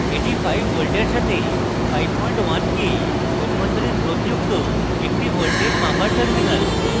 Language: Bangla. এটি 5 voltage সাথে 51k অভ্যন্তরীণ রোধ যুক্ত একটি voltage মাপার terminal